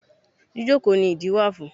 Jíjókòó ni ìdí wà fún.